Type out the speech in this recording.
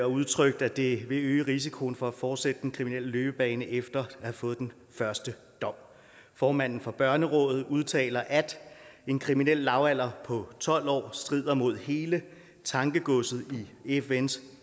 udtrykt at det vil øge risikoen for at fortsætte den kriminelle løbebane efter at have fået den første dom formanden for børnerådet udtaler at en kriminel lavalder på tolv år strider mod hele tankegodset i fns